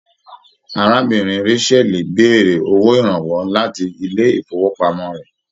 Arábìnrin Rachael béèrè owó ìrànwọ́ láti ilé ifowopamọ rẹ.